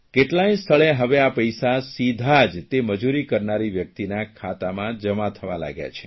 કેટલાંય સ્થળે હવે આ પૈસા સીધા જ તે મજૂરી કરનારી વ્યકિતના ખાતામાં જમા થવા લાગ્યા છે